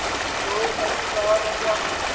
nto kantsikana kwa